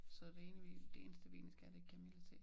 Så det ene vi det eneste vi egentlig skal have det kamillete